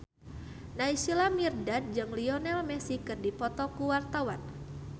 Naysila Mirdad jeung Lionel Messi keur dipoto ku wartawan